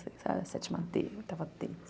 Sétima dê, oitava dê.